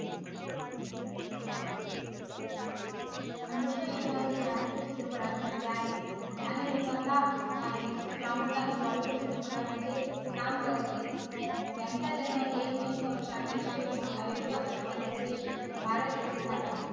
अनुष्का शर्मा ही भारतीय चित्रपट अभिनेत्री आहे आणि निर्माता आहे ही प्रामुख्याने bollywood चित्रपटांमध्ये काम करते त्यांचा जन्म एक मे एकोणीशे अठ्ठ्याऐंशी रोजी अयोध्या उत्तर प्रदेश भारत येथे झाला